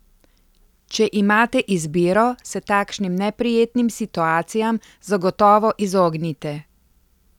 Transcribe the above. Če imate izbiro, se takšnim neprijetnim situacijam zagotovo izognite.